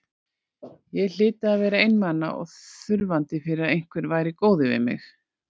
Ég hlyti að vera einmana og þurfandi fyrir að einhver væri góður við mig.